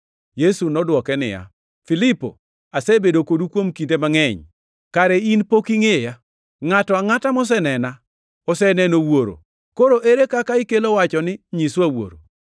Yesu nodwoke niya, “Filipo, asebedo kodu kuom kinde mangʼeny, kare in pok ingʼeya? Ngʼato angʼata mosenena oseneno Wuoro, koro ere kaka ikelo wacho ni, ‘Nyiswa Wuoro’?